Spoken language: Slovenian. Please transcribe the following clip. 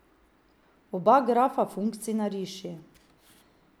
Oba grafa funkcij nariši.